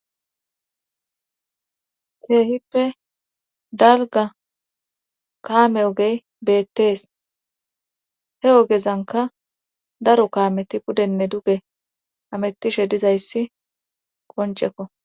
seehippe dalga kaame ogey beettees he ogezanka daro kaameti pudenne duge amettishe dizayssi qoncekko